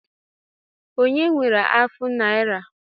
Onye nwere afụ naira?